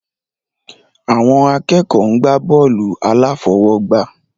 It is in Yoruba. Àwọn akẹ́kọ̀ọ́ ń gbá bọ́ọ̀lù aláfọwọ́gbá